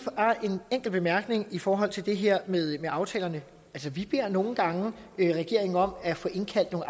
en enkelt bemærkning i forhold til det her med aftalerne vi beder nogle gange regeringen om at få indkaldt nogle